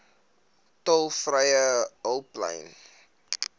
tolvrye hulplyn